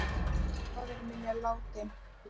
Faðir minn er látinn.